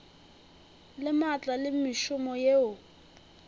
le maatla le mešomo yeo